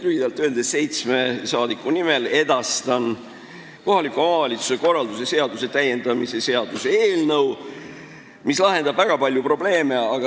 Lühidalt öeldes edastan seitsme rahvasaadiku nimel kohaliku omavalitsuse korralduse seaduse täiendamise seaduse eelnõu, mis lahendab väga palju probleeme.